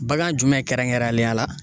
Bagan jumɛn kɛrɛnkɛrɛnlenya la